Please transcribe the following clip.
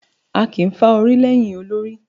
Áà kí n fà orí lẹ́yìn olórí